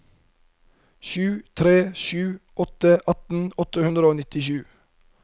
sju tre sju åtte atten åtte hundre og nittisju